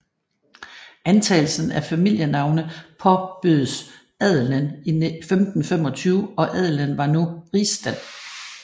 Antagelsen af familienavne påbødes adelen 1525 og adelen var nu rigsstand